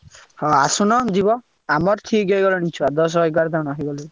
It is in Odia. ହଁ ଆସୁନ ଯିବ। ଆମର ଠିକ ହେଇଗଲେଣି ଛୁଆ ଦଶ ଏଗାର ଜଣ ହେଇଗଲେଣି।